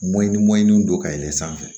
Mɔɲini mɔɲinin don ka yɛlɛ sanfɛ